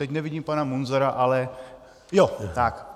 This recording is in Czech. Teď nevidím pana Munzara, ano, je tu.